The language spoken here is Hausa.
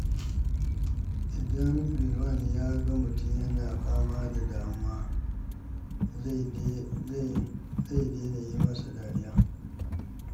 Idan Rilwan ya ga mutum yana fama da damuwa, zai daina yi masa dariya.